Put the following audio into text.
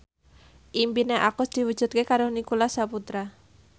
impine Agus diwujudke karo Nicholas Saputra